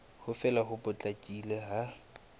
ho fela ho potlakileng ha